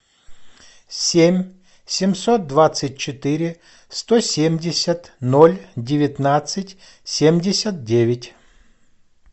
семь семьсот двадцать четыре сто семьдесят ноль девятнадцать семьдесят девять